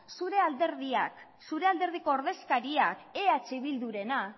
zure alderdiak zure alderdiko ordezkariak eh bildurena